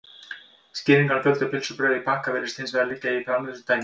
Skýringin á fjölda pylsubrauða í pakka virðist hins vegar liggja í framleiðslutækninni.